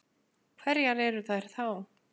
Hverjar eru þær þá?